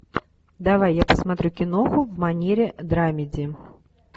давай я посмотрю киноху в манере драмеди